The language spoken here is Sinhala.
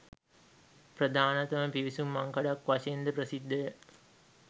ප්‍රධානතම පිවිසුම් මංකඩක් වශයෙන් ද ප්‍රසිද්ධ ය